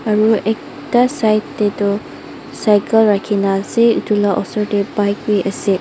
aru ekta side te tu cycle rakhi ne ase etu la osor te bike bi ase.